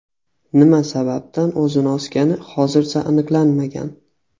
nima sababdan o‘zini osgani hozircha aniqlanmagan.